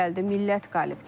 millət qalib gəldi,